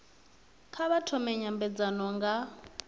kha vha thome nymbedzano nga